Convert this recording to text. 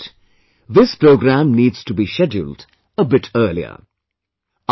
And you are right, that this program needs to be scheduled a bit earlier